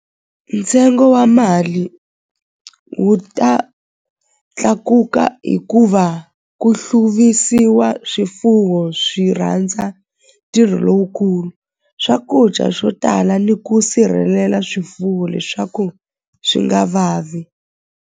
Ntsengo wa mali wu ta tlakuka hikuva ku hluvisiwa swifuwo swi rhandza ntirho lowukulu swakudya swo tala ni ku sirhelela swifuwo leswaku swi nga vavi.